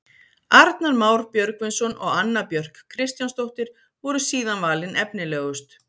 Arnar Már Björgvinsson og Anna Björk Kristjánsdóttir voru síðan valin efnilegust.